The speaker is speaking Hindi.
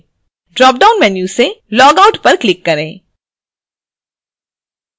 dropdown मैन्यू से logout पर click करें